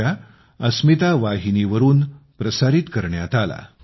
com पिबमुंबई पिबमुंबई